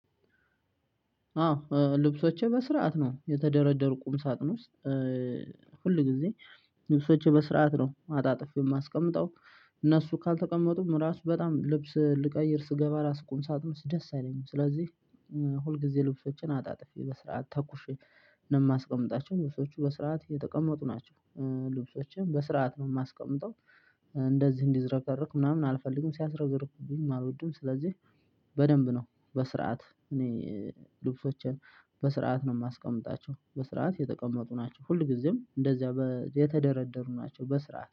አዎ ልብሶቼ በስርዓት ነው የተደረደሩ ቁም ሳቅ ነው ውስጥ ሁል ጊዜ ልብሶቼ በስርዓት ነው አጣጥፌ የማስቀምጠው። እነሱ ካልተቀመጡም እራሱ በጣም ልብስ ልቀይር ስገባ ቁም ሳጥኑ ደስ አይለኝም። ስለዚህ ሁልጊዜ ልብሶችን አጣጥፌ በስርዓት ተኩሼ ነው የማስቀምጣቸው ልብሶቹ በስርዓት የተቀመጡ ናቸው። ልብሶችን በስርዓት ነው የማስቀምጠው። እንደዚህ እንዲዘረበረክ ምናምን አልፈልግም ሲያስረዝርኩብኝ አልወድም። ስለዚህ በደንብ ነው በስርዓት እኔ ልብሶችን በስርዓት ነው የማስቀምጣቸው በስርዓት የተቀመጡ ናቸው። ሁልጊዜም እንደዚያ የተደረደሩ ናቸው በስርዓት